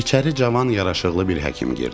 İçəri cavan, yaraşıqlı bir həkim girdi.